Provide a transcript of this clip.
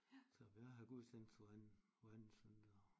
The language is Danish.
Så jeg har gudstjeneste hver anden hver anden søndag